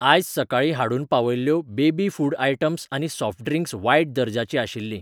आयज सकाळीं हाडून पावयल्ल्यो बेबी फूड आयटम्स आनी सॉफ्ट ड्रिंक्स वायट दर्जाचीं आशिल्लीं.